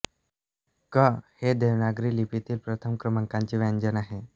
क् हे देवनागरी लिपीतील प्रथम क्रमांकाचे व्यंजन आहे